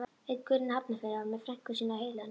Einn gaurinn í Hafnarfirði var með frænku sína á heilanum.